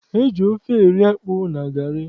E ji ofe eri akpụ na garị.